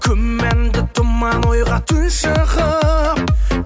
күмәнді тұман ойға тұншығып